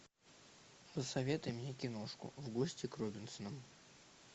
посоветуй мне киношку в гости к робинсонам